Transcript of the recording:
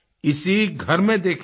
इसी घर में देखे हैं